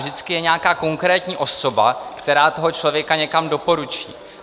Vždycky je nějaká konkrétní osoba, která toho člověka někam doporučí.